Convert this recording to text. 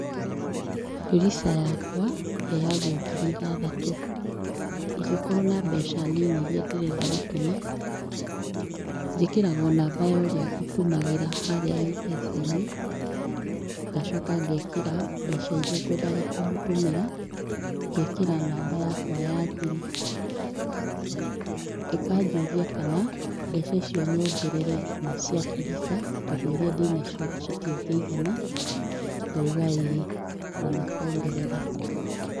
Fuliza yakwa heyangwo ngiri ithathatũ. Ĩngĩkorwo na mbeca nini iria ndĩrenda gũtũma, njĩkĩraga o namba yorĩa ngũtũmagĩra harĩa Mpesa inĩ ngacoka ngekĩra mbeca iria ngwendaga kũmũtũmĩra ngekĩra namba yakwa ya thiri, ĩkanjũria kana mbeca icio nyongerere na cia Fuliza tondũ iria ndĩnacio citingĩigana ngauga ĩi na makongerera.